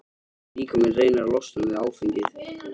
Líkaminn reynir að losna við áfengið.